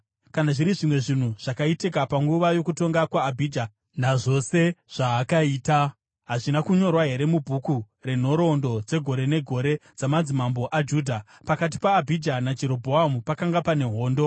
Kana zviri zvimwe zvinhu zvakaitika panguva yokutonga kwaAbhija, nazvose zvaakaita, hazvina kunyorwa here mubhuku renhoroondo dzegore negore dzamadzimambo aJudha? Pakati paAbhija naJerobhoamu pakanga pane hondo.